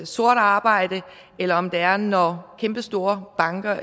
sort arbejde eller om det er når kæmpestore banker